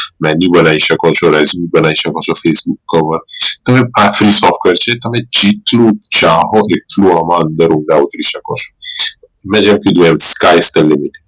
Venue બનાઈ શકો છો licence બનાઈ શકો છો તમે software છે તમે જેટલું ચાહો એટલું આમ અંદર ઉમેરી શકો છો મેં જેમ કીધું આમ